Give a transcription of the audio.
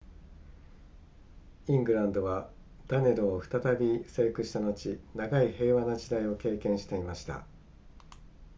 イングランドはダネローを再び征服した後長い平和な時代を経験していました